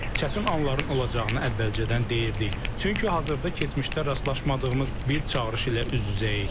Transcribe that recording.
Çətin anların olacağını əvvəlcədən deyirdik, çünki hazırda keçmişdə rastlaşmadığımız bir çağırış ilə üz-üzəyik.